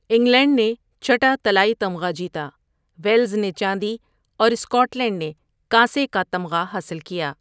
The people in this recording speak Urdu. انگلینڈ نے چھٹا طلائی تمغہ جیتا، ویلز نے چاندی اور سکاٹ لینڈ نے کانسی کا تمغہ حاصل کیا۔